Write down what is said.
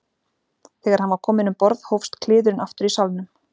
Þegar hann var kominn um borð hófs kliðurinn aftur í salnum.